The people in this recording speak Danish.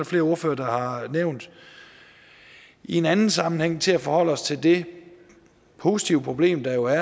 flere ordførere har nævnt i en anden sammenhæng til at forholde os til det positive problem der jo er